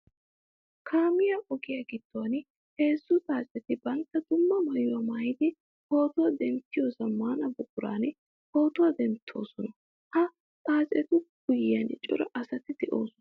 Kaamiya ogiya giduwan heezzu xaacetti bantta dumma maayuwa maayiddi pootuwa denttiyo zamaana buquran pootuwa denttosonna. Ha xaacettu guyen cora asatti de'osonna.